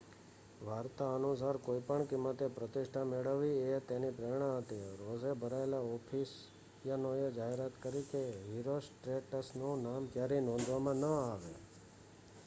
વાર્તા અનુસાર કોઈપણ કિંમતે પ્રતિષ્ઠા મેળવવી એ તેની પ્રેરણા હતી રોષે ભરાયેલા એફેસિયનોએ જાહેરાત કરી કે હિરોસ્ટ્રેટસનું નામ ક્યારેય નોંધવામાં ન આવે